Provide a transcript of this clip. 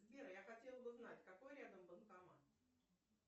сбер я хотела бы узнать какой рядом банкомат